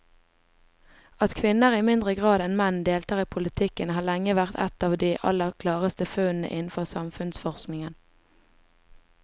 At kvinner i mindre grad enn menn deltar i politikken har lenge vært et av de aller klareste funnene innenfor samfunnsforskningen.